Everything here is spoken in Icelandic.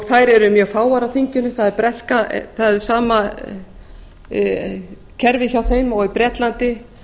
þær eru mjög fáar á þinginu það er sama kerfi hjá þeim og í bretlandi